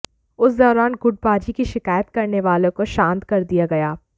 उस दौरान गुटबाजी की शिकायत करने वाले को तो शांत कर दिया गया